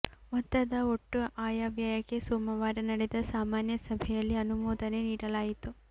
ಮೊತ್ತದ ಒಟ್ಟು ಆಯವ್ಯಯಕ್ಕೆ ಸೋಮವಾರ ನಡೆದ ಸಾಮಾನ್ಯ ಸಭೆಯಲ್ಲಿ ಅನುಮೋದನೆ ನೀಡಲಾಯಿತು